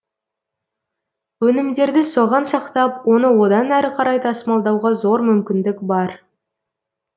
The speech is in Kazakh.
өнімдерді соған сақтап оны одан әрі қарай тасымалдауға зор мүмкіндік бар